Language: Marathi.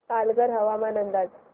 पालघर हवामान अंदाज